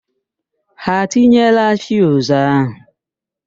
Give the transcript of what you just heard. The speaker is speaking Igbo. Ha etinyeela fiuzu ahụ?